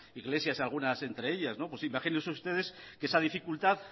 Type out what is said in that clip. iglesias algunas entre ellas pues imagínense ustedes que